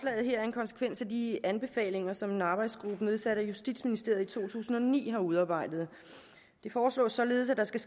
er en konsekvens af de anbefalinger som en arbejdsgruppe nedsat af justitsministeriet i to tusind og ni har udarbejdet det foreslås således at der skal